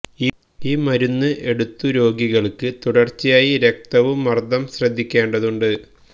ഈ മരുന്ന് എടുത്തു രോഗികൾക്ക് തുടർച്ചയായി രക്തവും മർദ്ദം ശ്രദ്ധിക്കേണ്ടതുണ്ട്